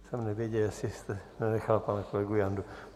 Jsem nevěděl, jestli jste nenechal pana kolegu Jandu.